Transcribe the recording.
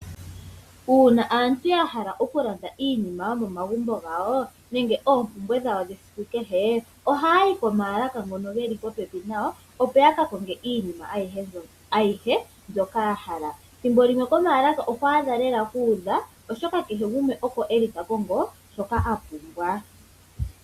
Uuna aantu yahala okulanda iinima yomomagumbo gawo nenge oompumbwe dhawo dhesiku kehe oha yayi komaalaka ngono geli popepi na yo . Opo yakakonge iinima ayihe mbyoka yahala. Thimbo limwe komaalaka ohwaadha lela kuudha oshoka kehe gumwe oko eli takongo shoka apumbwa.